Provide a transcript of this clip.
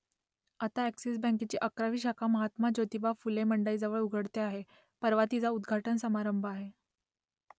आता अ‍ॅक्सिस बँकेची अकरावी शाखा महात्मा ज्योतिबा फुले मंडईजवळ उघडते आहे परवा तिचा उद्घाटन समारंभ आहे